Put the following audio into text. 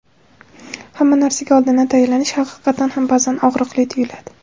Hamma narsaga oldindan tayyorlanish haqiqatdan ham ba’zan og‘riqli tuyuladi.